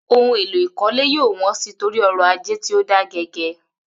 Ohun èlò ìkọ́lé yóò wọ́n sí torí ọrọ̀ ajé tí ó da gẹgẹ